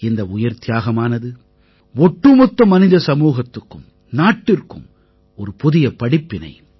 இந்த உயிர்த்தியாகமானது ஒட்டுமொத்த மனித சமூகத்துக்கும் நாட்டிற்கும் ஒரு புதிய படிப்பினை